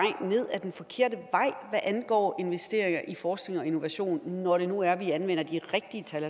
hvad angår investeringer i forskning og innovation når det nu er at vi anvender de rigtige tal